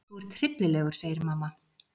Þú ert hryllilegur, segir mamma.